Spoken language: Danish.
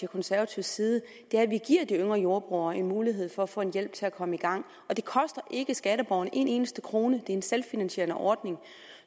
konservatives side er at vi giver de yngre jordbrugere en mulighed for at få en hjælp til at komme i gang og det koster ikke skatteborgerne en eneste krone det en selvfinansierende ordning